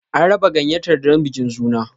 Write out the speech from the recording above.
An raba gayyatar don bikin suna.